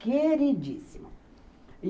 Queridíssimo.